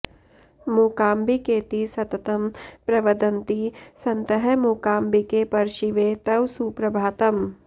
मूकाम्बिकेति सततं प्रवदन्ति सन्तः मूकाम्बिके परशिवे तव सुप्रभातम्